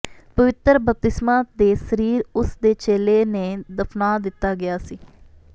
ਪਵਿੱਤਰ ਬਪਤਿਸਮਾ ਦੇ ਸਰੀਰ ਉਸ ਦੇ ਚੇਲੇ ਨੇ ਦਫ਼ਨਾ ਦਿੱਤਾ ਗਿਆ ਸੀ